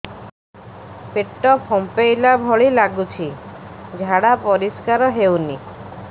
ପେଟ ଫମ୍ପେଇଲା ଭଳି ଲାଗୁଛି ଝାଡା ପରିସ୍କାର ହେଉନି